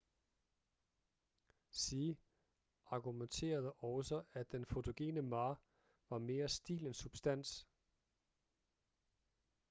hsieh argumenterede også at den fotogene ma var mere stil end substans